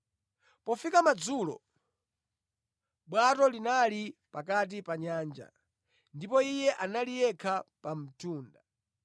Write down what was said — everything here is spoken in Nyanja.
Pofika madzulo, bwato linali pakati pa nyanja, ndipo Iye anali yekha pa mtunda.